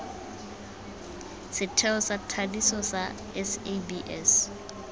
setheo sa thadiso sa sabs